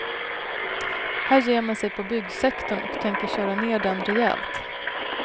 Här ger man sig på byggsektorn och tänker köra ner den rejält.